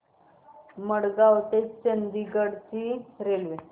मडगाव ते चंडीगढ ची रेल्वे